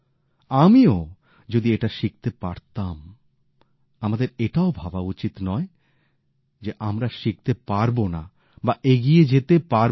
আমিও যদি এটা শিখতে পারতাম আমাদের এটাও ভাবা উচিত নয় যে আমরা শিখতে পারবো না বা এগিয়ে যেতে পারবোনা